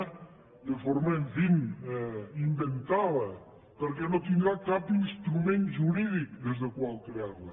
en fi de forma inventada perquè no tindrà cap instrument jurídic des del qual crearla